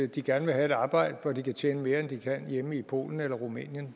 de gerne vil have et arbejde hvor de kan tjene mere end de kan hjemme i polen eller rumænien